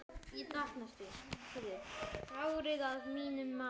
Fáir, að mínu mati.